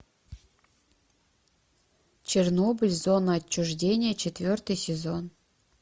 чернобыль зона отчуждения четвертый сезон